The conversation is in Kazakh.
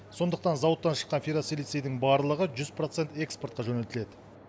сондықтан зауыттан шыққан ферросилицияның барлығы жүз процент экспортқа жөнелтіледі